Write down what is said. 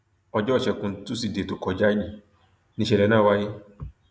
ọjọ ìṣègùn tusidee tó kọjá yìí níṣẹlẹ náà wáyé